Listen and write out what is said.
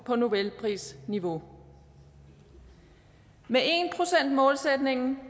på nobelprisniveau med målsætningen